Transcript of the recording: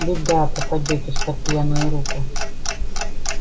беда попадётесь под пьяную руку